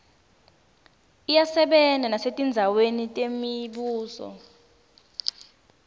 iyasebenta nesetindzaweni temibuso